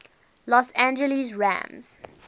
los angeles rams